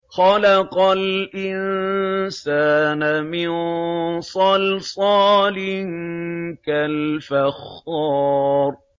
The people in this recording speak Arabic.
خَلَقَ الْإِنسَانَ مِن صَلْصَالٍ كَالْفَخَّارِ